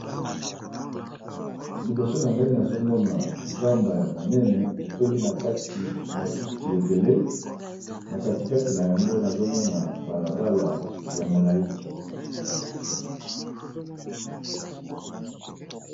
Lboso na ngai nazomona zamba ya monene etondi na kati matiti ebele na katikati na yango nazomona balabala ya molai